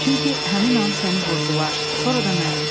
Çünki həmin an səni vurdular, sonra da məni.